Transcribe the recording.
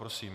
Prosím.